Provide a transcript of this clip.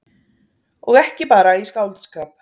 Og ekki bara í skáldskap.